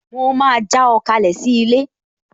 Mo máa já ọ kalẹ̀ sí ilé